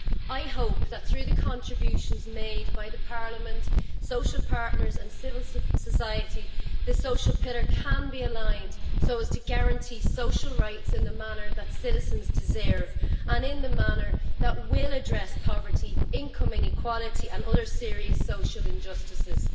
I hope that through the contributions made by Parliament, social partners and civil society, the social pillar can be aligned so as to guarantee social rights in the manner that citizens deserve and in a manner that will address poverty, income inequality and other serious social injustices.